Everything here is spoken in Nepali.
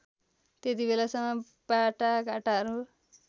त्यतिबेलासम्म बाटाघाटाहरू